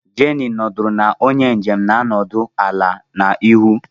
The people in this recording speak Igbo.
Jenny nọdụrụ na onye njem na-anọdụ ala n'ihu